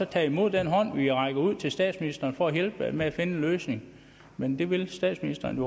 tage imod den hånd vi rækker ud til statsministeren for at hjælpe med at finde en løsning men det vil statsministeren